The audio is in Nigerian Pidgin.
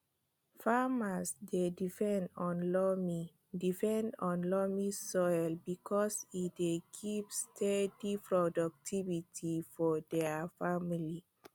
farmers dey depend on loamy depend on loamy soil because e dey give steady productivity for dia families